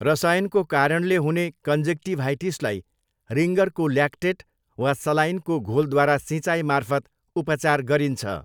रसायनको कारणले हुने कन्जक्टिभाइटिसलाई रिङ्गरको ल्याक्टेट वा सलाइनको घोलद्वारासिँचाइ मार्फत उपचार गरिन्छ।